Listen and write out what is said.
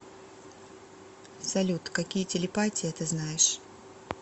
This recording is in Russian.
салют какие телепатия ты знаешь